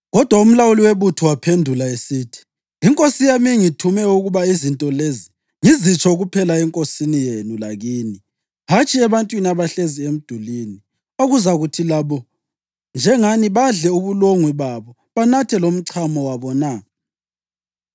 Kodwa umlawuli webutho waphendula esithi, “Inkosi yami ingithume ukuba izinto lezi ngizitsho kuphela enkosini yenu lakini, hatshi ebantwini abahlezi emdulini, okuzakuthi labo, njengani badle ubulongwe babo banathe lomchamo wabo na?”